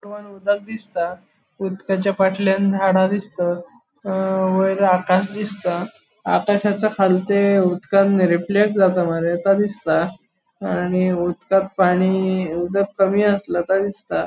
उदक दिसता उदकाच्या फाटल्याण झाड़ा दिसता अ वयर आकाश दिसता आकाशाचे खालते उदकान रिफ्लेक्ट जाता मरे ता दिसता आणि उदकांन पानि उदक कमी आस्ल तो दिसता.